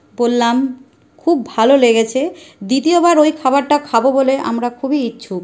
বললাম খুব ভালো লেগেছে দ্বিতীয়বার ওই খাবারটা খাব বলে আমরা খুবই ইচ্ছুক।